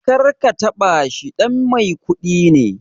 Karka taɓa shi, ɗan mai kuɗi ne